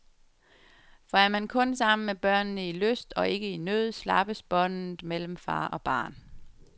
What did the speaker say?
For er man kun sammen med børnene i lyst, og ikke i nød, slappes båndet mellem far og barn.